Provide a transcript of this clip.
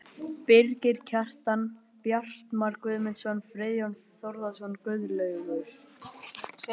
Birgir Kjaran, Bjartmar Guðmundsson, Friðjón Þórðarson, Guðlaugur